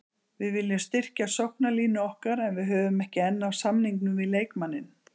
Við viljum styrkja sóknarlínu okkar en við höfum ekki enn náð samningum við leikmanninn.